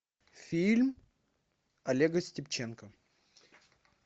фильм олега степченко